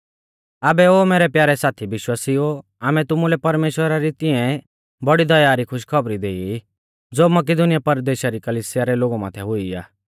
आबै ओ मैरै प्यारै साथी विश्वासिउओ आमै तुमुलै परमेश्‍वरा री तिऐं बौड़ी दया री खुश खौबर देई ई ज़ो मकिदुनीया परदेशा री कलिसिया रै लोगु माथै हुई आ